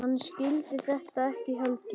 Hann skildi þetta ekki heldur.